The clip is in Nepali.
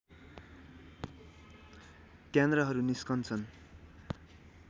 त्यान्द्राहरू निस्कन्छन्